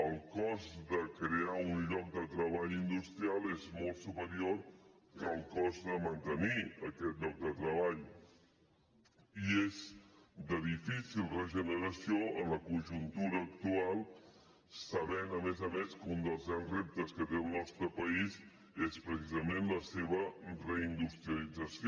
el cost de crear un lloc de treball industrial és molt superior que el cost de mantenir aquest lloc de treball i és de difícil regeneració en la conjuntura actual sabent a més a més que un dels grans reptes que té el nostre país és precisament la seva reindustrialització